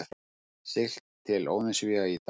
Siglt til Óðinsvéa í dag